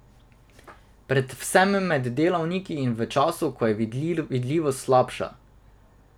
Predvsem med delavniki in v času, ko je vidljivost slabša.